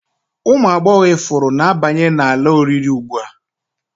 Ụmụ agbọghọ ifuru na-abanye n'ala oriri ugbu a